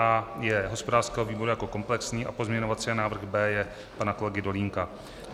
A je hospodářského výboru jako komplexní a pozměňovací návrh B je pana kolegy Dolínka.